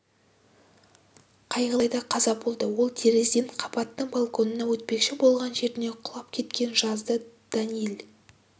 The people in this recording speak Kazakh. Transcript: қайғылы жағдайда қаза болды ол терезеден қабаттың балконына өтпекші болған жерінен құлап кеткен жазды даниил